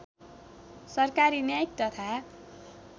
सरकारी न्यायिक तथा